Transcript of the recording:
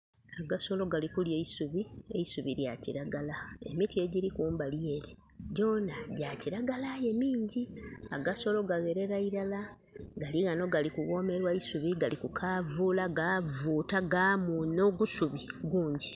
Agasolo gali kulya eisubi, eisubi lya kilagala. Emiti egiri kumbali ere gyona gya kilagala aye mingi. Agasolo gagherera iilala galiwano gali kughomerwa eisubi Gali ku kavula gavuta gamuna ogusubi gunji.